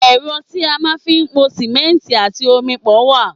Ẹ́rọ tí a máa ń fi pò simẹnti àti omi wá.